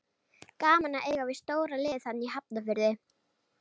Gaman að eiga við stóra liðið þarna í Hafnarfirði.